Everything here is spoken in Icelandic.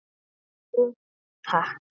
Jú takk!